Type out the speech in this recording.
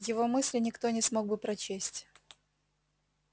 его мысли никто не смог бы прочесть